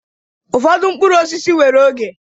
Ụfọdụ mkpụrụ osisi nwere oge.